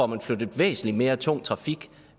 man flyttet væsentlig mere tung trafik